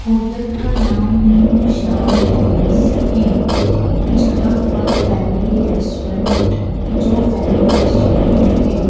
Hotel का नाम Shyam palace हैं जहां पर फैमिली रेस्टोरेंट जो फैमिली रेस्टोरेंट हैं।